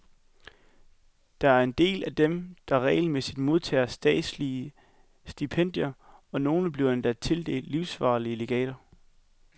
Der er en del af dem, der regelmæssigt modtager statslige stipendier, og nogle bliver endda tildelt livsvarige legater.